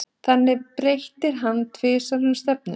Þannig breytir hann tvisvar um stefnu.